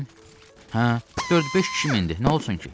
Hə, dörd-beş kişi mindi, nə olsun ki?